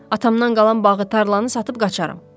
Atamdan qalan bağı tarlanı satıb qaçarım.